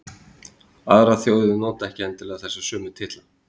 Aðrar þjóðir nota ekki endilega þessa sömu titla.